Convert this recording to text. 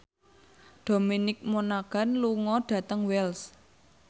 Dominic Monaghan lunga dhateng Wells